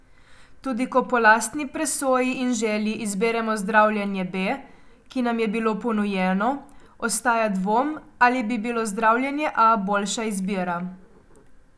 Tudi ko po lastni presoji in želji izberemo zdravljenje B, ki nam je bilo ponujeno, ostaja dvom, ali bi bilo zdravljenje A boljša izbira.